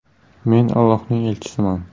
“Men Ollohning elchisiman.